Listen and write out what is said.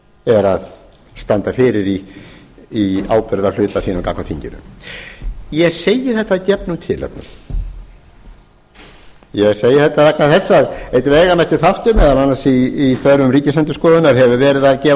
er að standa fyrir í ábyrgðarhluta sínum gagnvart þinginu ég segi þetta að gefnu tilefni ég segi þetta vegna þess að einn veigamesti þáttur meðal annars í störfum ríkisendurskoðunar hefur verið að gefa